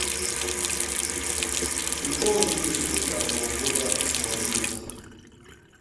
приколы две тысячи двадцатого года смотреть